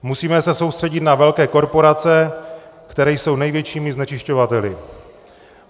Musíme se soustředit na velké korporace, které jsou největšími znečišťovateli.